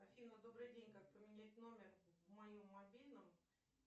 афина добрый день как поменять номер в моем мобильном